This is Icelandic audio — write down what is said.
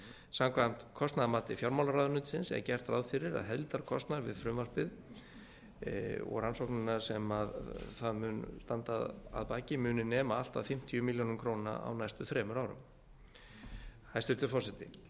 samkvæmt kostnaðarmati fjármálaráðuneytisins er gert ráð fyrir að heildarkostnaður við frumvarpið og rannsóknarinnar sem það mun standa að baki muni nema allt að fimmtíu milljónir króna á næstu þremur árum hæstvirtur forseti